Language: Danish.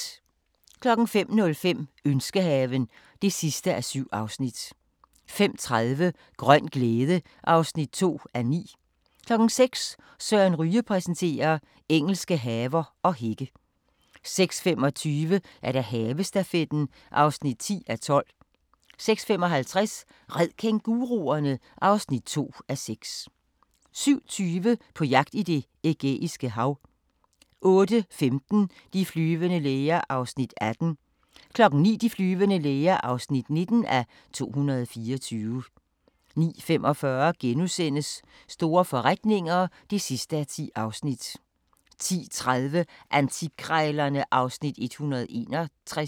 05:05: Ønskehaven (7:7) 05:30: Grøn glæde (2:9) 06:00: Søren Ryge præsenterer: Engelske haver og hække 06:25: Havestafetten (10:12) 06:55: Red kænguruerne! (2:6) 07:20: På jagt i Det Ægæiske Hav 08:15: De flyvende læger (18:224) 09:00: De flyvende læger (19:224) 09:45: Store forretninger (10:10)* 10:30: Antikkrejlerne (Afs. 161)